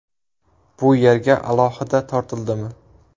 Bu yerga alohida tortildimi?